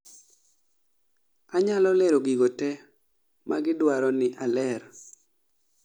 anyalo lero gigote magidwaroni aler